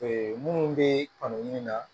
minnu bɛ kanu ɲini na